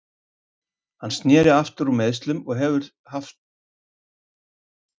Hann sneri aftur úr meiðslum og hann hefur mikilvægt verkefni fyrir höndum þetta tímabil.